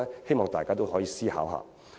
希望大家可以思考一下。